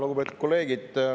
Lugupeetud kolleegid!